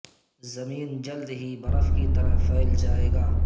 زمین جلد ہی برف کی طرح پھیل جائے گا